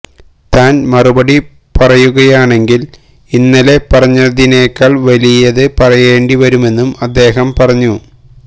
താന് മറുപടി പറയുകയാണെങ്കില് ഇന്നലെ പറഞ്ഞതിനേക്കാള് വലിയത് പറയേണ്ടി വരുമെന്നും അദ്ദേഹം പറഞ്ഞു